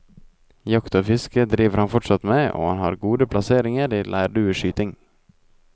Jakt og fiske driver han fortsatt med, og han har gode plasseringer i leirdueskyting.